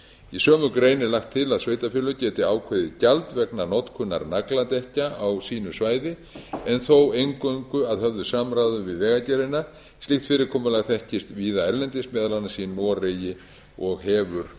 í sömu grein er lagt til að sveitarfélög geti ákveðið gjald vegna notkunar nagladekkja á sínu svæði en þó eingöngu að höfðu samráði við vegagerðina slíkt fyrirkomulag þekkist víða erlendis meðal annars í noregi og hefur